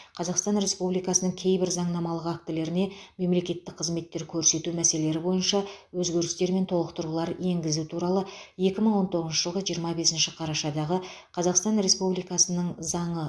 қазақстан республикасының кейбір заңнамалық актілеріне мемлекеттік қызметтер көрсету мәселелері бойынша өзгерістер мен толықтырулар енгізу туралы екі мың он тоғызыншы жылғы жиырма бесінші қарашадағы қазақстан республикасының заңы